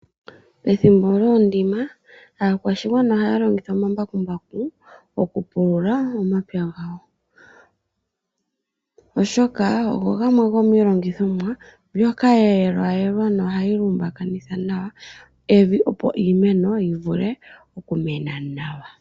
Ethimbo lyoondima aakwashigwana ohaya longitha omambakumbaku okupulula omapya gawo. Oshoka ogo gamwe go miilongithomwa mbyoka yeelwayelwa nohayi lumbakinitha nawa evi opo iimeno yivule okumena nawa.